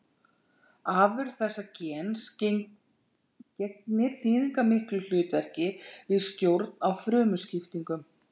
Afurð þessa gens gegnir þýðingarmiklu hlutverki við stjórn á frumuskiptingum.